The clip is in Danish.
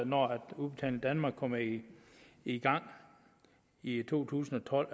når udbetaling danmark kommer i i gang i to tusind og